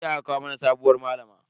Jiya aka kawo mana sabuwar malama.